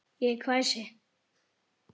Ég hvæsi.